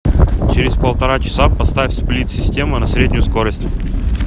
через полтора часа поставь сплит система на среднюю скорость